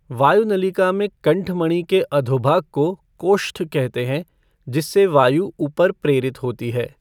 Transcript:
वायुनलिका में कण्ठमणि के अधोभाग को कोष्ठ कहते है जिससे वायु उपर प्रेरित होती है।